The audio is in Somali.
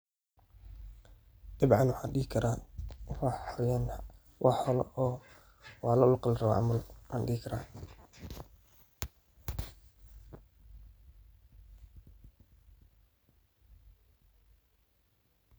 Dabcan waxaan dihi karaa waa xayawaan ama loo laqali rabo camal ayaan dihi karaa.